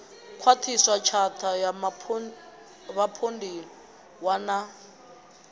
khwaṱhiswa tshatha ya vhapondiwa na